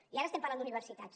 i ara estem parlant d’universitats